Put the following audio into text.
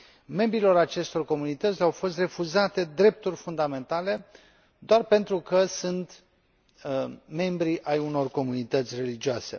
Membrilor acestor comunități le au fost refuzate drepturi fundamentale doar pentru că sunt membri ai unor comunități religioase.